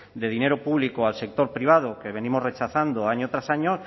de dinero público al sector privado que venimos rechazando año tras año